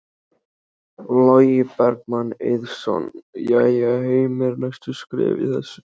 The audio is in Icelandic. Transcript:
Logi Bergmann Eiðsson: Jæja Heimir, næstu skref í þessu?